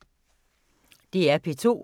DR P2